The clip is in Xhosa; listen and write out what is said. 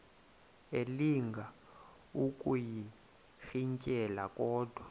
elinga ukuyirintyela kodwa